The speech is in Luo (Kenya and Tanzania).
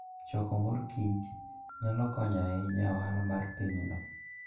Choko mor kich nyalo konyo ahinya e ohala mar pinyno.